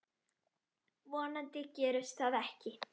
Vonandi gerist það ekki.